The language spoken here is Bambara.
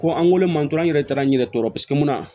Ko an wolo ma dɔrɔn an yɛrɛ taara n'i yɛrɛ tɔɔrɔ paseke mun na